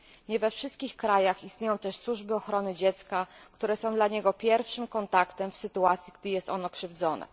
Nie we wszystkich krajach istnieją też służby ochrony dziecka, które są dla niego pierwszym kontaktem w sytuacji, gdy jest ono krzywdzone.